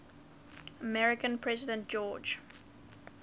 american president george